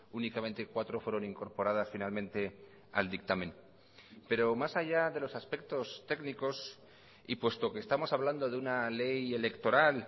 únicamente cuatro fueron incorporadas finalmente al dictamen pero más allá de los aspectos técnicos y puesto que estamos hablando de una ley electoral